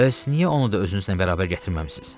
Bəs niyə onu da özünüzlə bərabər gətirməmisiniz?